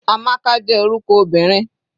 Amaka jẹ́ orúkọ obìnrin.